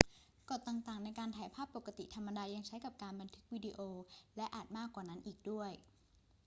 กฎต่าง ๆ ในการถ่ายภาพปกติธรรมดายังใช้กับการบันทึกวิดีโอ และอาจมากกว่านั้นอีกด้วย